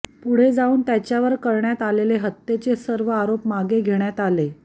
पुढे जाऊन त्याच्यावर करण्यात आलेले हत्येचे सर्व अरोप मागे घेण्यात आले